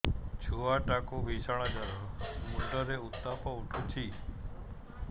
ଛୁଆ ଟା କୁ ଭିଷଣ ଜର ମୁଣ୍ଡ ରେ ଉତ୍ତାପ ଉଠୁଛି